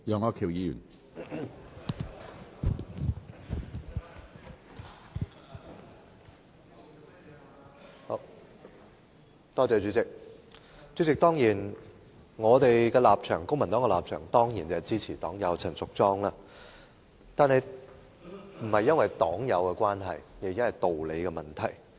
主席，公民黨的立場當然是支持黨友陳淑莊議員的議案，但這不是因為黨友的關係，而是道理的問題。